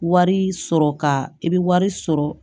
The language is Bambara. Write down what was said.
Wari sɔrɔ ka i bɛ wari sɔrɔ